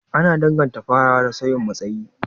Ana danganta farawa da sauyin matsayi,